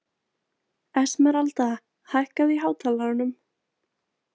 Esmeralda, hækkaðu í hátalaranum.